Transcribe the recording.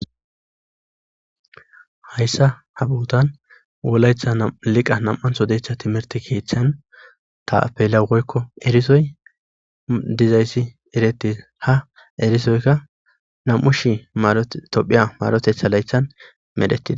hayssa ha buutan wolaytha liqa nam7anhodeetha timerti keeththan tapela woykko erisoy dizayssi eretis ha erisoykka nam7u shi tophiya marotetha laythan medhettida